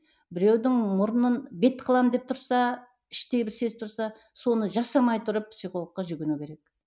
біреудің мұрнын бет қыламын деп тұрса іштей бір сезіп тұрса соны жасамай тұрып психологқа жүгіну керек